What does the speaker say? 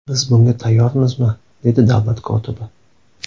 Biz bunga tayyormizmi?” dedi davlat kotibi.